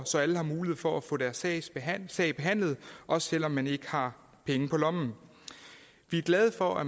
så alle har mulighed for at få deres sag behandlet sag behandlet også selv om man ikke har penge på lommen vi er glade for at